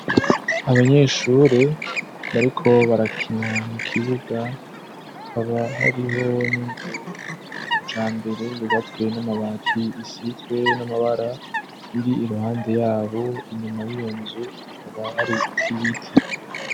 Abanyeshure bariko barakena mu kibuga akaba hariho n'inzu yakicambere yubatswe n'amabati isitwe n'amabara iri iruhande yabo inyuma y'iyonzu akaba hari ibiti.